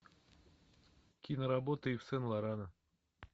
киноработы ив сен лорана